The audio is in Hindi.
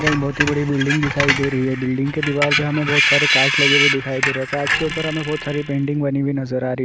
यहाँ एक बहोत ही बड़ी बिल्डिंग दिखाई दे रही है। बिल्डिंग की दीवाल पे हमें बहोत सारे काँच लगे हुए दिखाई दे रहे हैं। काँच के उपर हमें बहोत सारी पेंटिंग बनी हुई नजर आ रही --